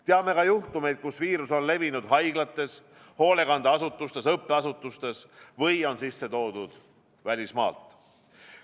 Teame juhtumeid, kus viirus on levinud haiglates, hoolekandeasutustes, õppeasutustes või on sisse toodud välismaalt.